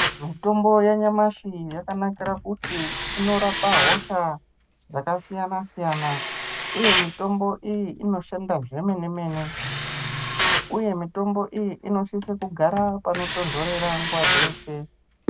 Mitombo yanyamashi yakanakira kuti inorapa hosha dzakasiyana siyana, uye mitombo iyi inoshanda zvemenemene uye mitombo iyi inosisa kugara panotonhorera nguwa dzeshe.